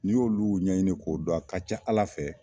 N'i y'olu ɲɛɲini k'o don, a ka ca Ala fɛ